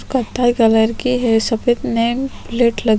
कत्था कलर की है सफ़ेद नेम प्लेट लगी ।--